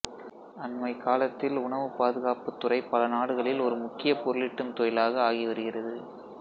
அன்மைக் காலத்தில் உணவுப் பாதுகாப்புத் துறை பல நாடுகளில் ஒரு முக்கியப் பொருளீட்டும் தொழிலாக ஆகி வருகிறது